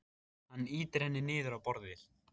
Hann ýtir henni niður á borðið.